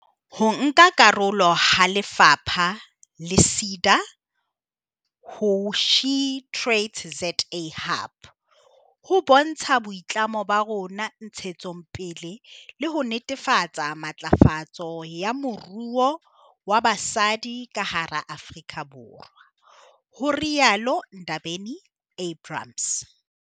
"Ho nka karolo ha lefapha le SEDA ho SheTradesZA Hub ho bontsha boitlamo ba rona ntshetsong pele le ho netefatsa matlafatso ya moruo wa basadi ka hara Afrika Borwa," ho rialo Ndabeni-Abrahams.